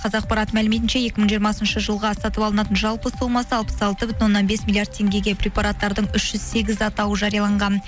қазақпарат мәліметінше екі мың жиырмасыншы жылға сатып алынатын жалпы сомасы алпыс алты бүтін оннан бес миллиард теңгеге препараттардың үш жүз сегіз атауы жарияланған